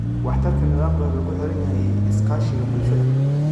Waxtarka nidaamka wuxuu ku xiran yahay iskaashiga bulshada.